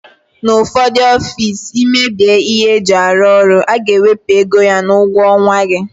N'ufodu ọffici imebie ihe eji arụ ọrụ aga ewepu égo ya n'ugwo onwa gị.